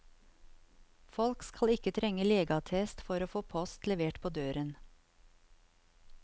Folk skal ikke trenge legeattest for å få post levert på døren.